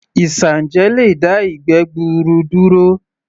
Isanje lè dá ìgbẹ́ gbuuru duro